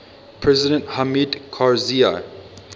president hamid karzai